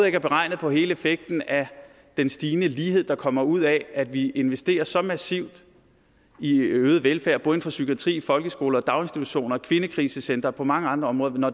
ikke er beregnet på hele effekten af den stigende lighed der kommer ud af at vi investerer så massivt i øget velfærd både inden for psykiatri folkeskole daginstitutioner og kvindekrisecentre og på mange andre områder må